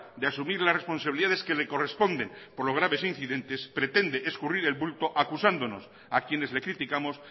de asumir las responsabilidades que le corresponden por los graves incidentes pretende escurrir el bulto acosándonos a quienes le criticamos